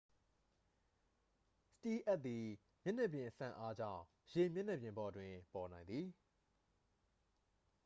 စတီးလ်အပ်သည် မျက်နှာပြင်စန့်အားကြောင့် ရေမျက်နှာပြင်ပေါ်တွင် ပေါ်နိုင်သည်